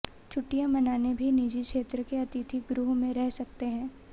छुट्टियां मनाने भी निजी क्षेत्र के अतिथि गृह में रह सकते हैं